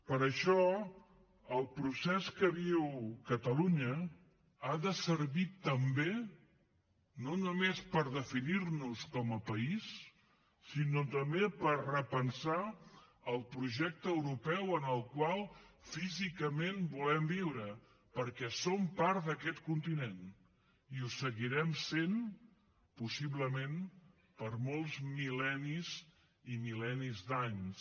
per això el procés que viu catalunya ha de servir també no només per definir nos com a país sinó també per repensar el projecte europeu en el qual físicament volem viure perquè som part d’aquest continent i ho seguirem sent possiblement per molts mil·lennis i mil·lennis d’anys